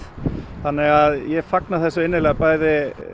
þannig að ég fagna þessu bæði